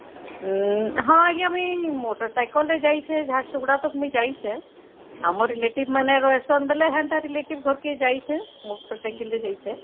ଉମ ହଁ ଆଂଜ୍ଞା ମୁଇ ମୋଟେର ସାଇକେଲ ରେ ଯାଇଛେ ଝାରସୁଗୁଡା ତ ମୁଇ ଯାଇଛେ ଆମ relative ମାନେ ରହୁଛେ ବୋଲେ ସେନ୍ତା relative ଘରକୁ ଯାଇଛେ ମୋଟର ସାଇକେଲ ରେ ଯାଇଛେ